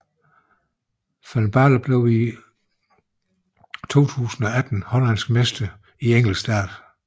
Van Baarle blev i 2018 hollandsk mester i enkeltstart